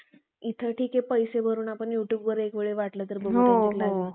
इथं ठीके पैसे भरून आपण युट्युब वर एकवेळ वाटलं तर बघता येईल